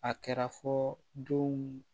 A kɛra fɔ denw